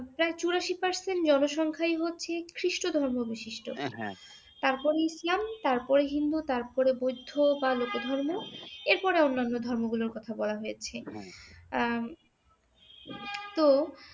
প্রায় চুরাশি percent জনসংখ্যাই হচ্ছি খ্রিষ্ট ধর্ম বিশিষ্ট, তারপর ইসলাম, তারপর হিন্দু, তারপর বৌদ্ধ বা লোক ধর্ম এরপরে অন্যান্য ধর্ম গুলোর কথা বলা হয়েছে। তো